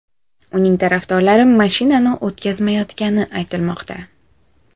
Uning tarafdorlari mashinani o‘tkazmayotgani aytilmoqda.